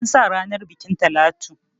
An sa ranar bukin Talatu.